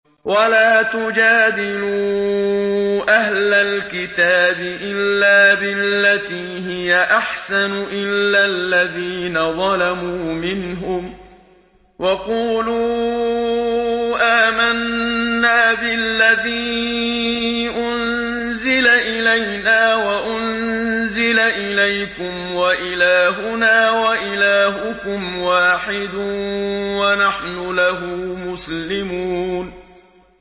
۞ وَلَا تُجَادِلُوا أَهْلَ الْكِتَابِ إِلَّا بِالَّتِي هِيَ أَحْسَنُ إِلَّا الَّذِينَ ظَلَمُوا مِنْهُمْ ۖ وَقُولُوا آمَنَّا بِالَّذِي أُنزِلَ إِلَيْنَا وَأُنزِلَ إِلَيْكُمْ وَإِلَٰهُنَا وَإِلَٰهُكُمْ وَاحِدٌ وَنَحْنُ لَهُ مُسْلِمُونَ